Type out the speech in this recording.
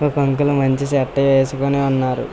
ఒక అంకులు మంచి షర్టు వేసుకొని ఉన్నారు.